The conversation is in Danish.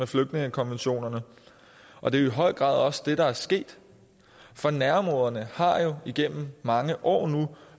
flygtningekonventionerne og det er i høj grad også det der er sket for nærområderne har jo nu igennem mange år